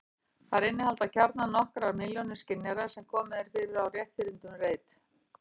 Þær innihalda gjarnan nokkrar milljónir skynjara sem komið er fyrir á rétthyrndum reit.